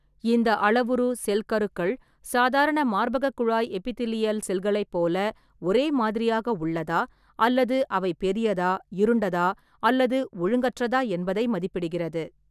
இந்த அளவுரு, செல் கருக்கள் சாதாரண மார்பகக் குழாய் எபிதிலியல் செல்களைப் போல ஒரே மாதிரியாக உள்ளதா அல்லது அவை பெரியதா, இருண்டதா அல்லது ஒழுங்கற்றதா என்பதை மதிப்பிடுகிறது.